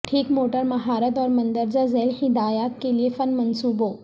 ٹھیک موٹر مہارت اور مندرجہ ذیل ہدایات کے لئے فن منصوبوں